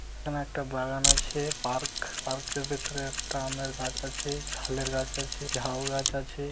এখানে একটা বাগান আছে পার্ক পার্কের ভিতরে একটা আমের গাছ আছে ছালের গাছ আছে ঝাউ গাছ আছে।